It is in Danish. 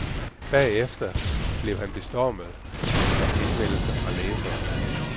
Bagefter blev han bestormet af henvendelser fra læsere.